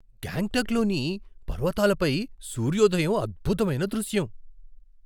గాంగ్టక్లోని పర్వతాలపై సూర్యోదయం అద్భుతమైన దృశ్యం .